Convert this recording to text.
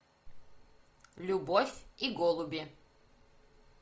любовь и голуби